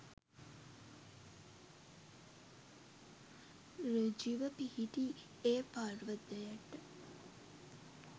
ඍජුව පිහිටි ඒ පර්වතයට